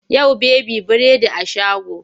Yau baby biredi a shago.